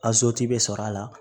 bɛ sɔrɔ a la